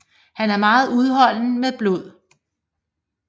Han er meget udholden med blod